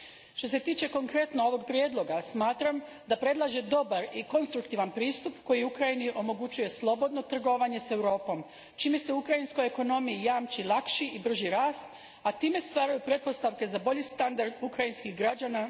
Što se tiče konkretno ovoga prijedloga, smatram da predlaže dobar i konstruktivan pristup koji Ukrajini omogućuje slobodno trgovanje s Europom, čime se ukrajinskoj ekonomiji jamči lakši i brži rast, a time stvaraju pretpostavke za bolji standard ukrajinskih građana.